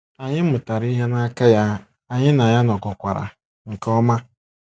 Anyị mụtara ihe n’aka ya, anyị na ya nọkọkwara nke ọma.